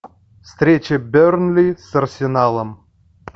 встреча бернли с арсеналом